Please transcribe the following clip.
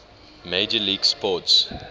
major league sports